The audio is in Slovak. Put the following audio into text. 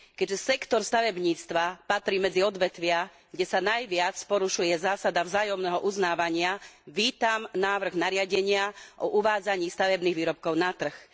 Keďže sektor stavebníctva patrí medzi odvetvia, kde sa najviac porušuje zásada vzájomného uznávania, vítam návrh nariadenia o uvádzaní stavebných výrobkov na trh.